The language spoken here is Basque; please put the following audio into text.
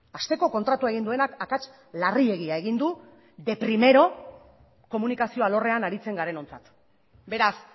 hasteko kontratua egin duenak akats larriegia egin du de primero komunikazio alorrean aritzen garenontzat beraz